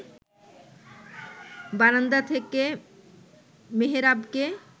বারান্দা থেকে মেহেরাবকে